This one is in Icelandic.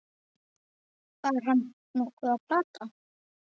Var hann nokkuð að plata?